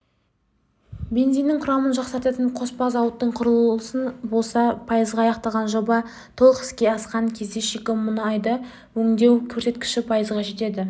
бензиннің құрамын жақсартатын қоспа зауыттың құрылысы болса пайызға аяқталған жоба толық іске асқан кезде шикі мұнайды өңдеу көрсеткіші пайызға жетеді